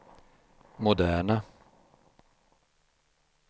moderna